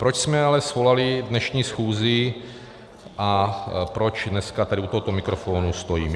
Proč jsme ale svolali dnešní schůzi a proč dneska tady u tohoto mikrofonu stojím.